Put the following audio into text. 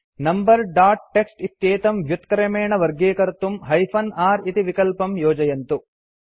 number dot TXT इत्येतं व्युत्क्रमेण वर्गीकर्तुम् हाइफेन r इति विकल्पं योजयन्तु